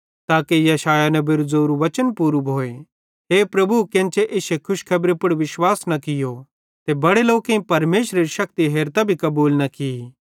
ताके यशायाह नेबेरू ज़ोरू वचन पूरू भोए हे प्रभु केन्चे इश्शे खुशखेबरी पुड़ विश्वास न कियो ते बड़े लोकेईं परमेशरेरी शक्ति हेरतां भी कबूल न की